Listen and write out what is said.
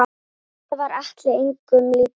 Enda var Atli engum líkur.